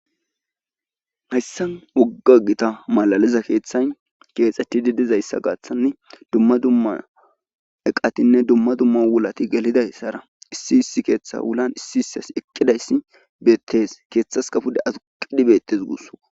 Hayssan keehi gita woga keethay keexetidi dizaaaga gaaththan dumma dumma eqatinne dumma dumma wulati gelidi issi keetha wulan issi issi asi eqqidayssi beetees. keethaskka pude aduqqidi beetes guussikko.